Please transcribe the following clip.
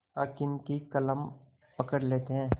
हाकिम की कलम पकड़ लेते हैं